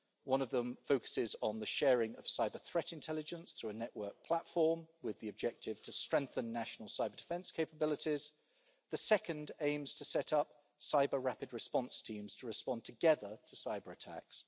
One of them focuses on the sharing of cyber-threat intelligence through a network platform with the objective to strengthen national cyber-defence capabilities, the second aims to set up cyber rapid response teams to respond together to cyber-attacks.